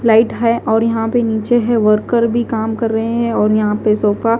light है और यहाँ पे नीचे है वर्कर भी काम कर रहे हैं और यहा पे सोफा --